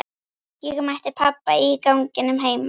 Ég mætti pabba í ganginum heima.